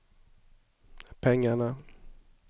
pengarna